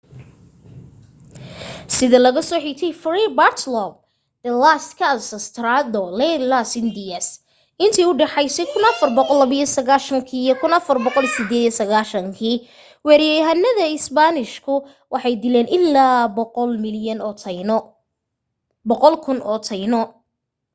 sida laga soo xigtay fray bartolome de las casas tratado de las indias intii u dhexaysay 1492 iyo 1498 weeraryahanada isbaanishku waxay dileen illaa 100,000 oo taino